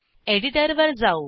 एडिटरवर जाऊ